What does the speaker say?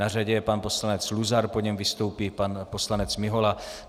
Na řadě je pan poslanec Luzar, po něm vystoupí pan poslanec Mihola.